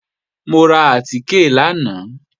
Mo ra àtìkè lánàá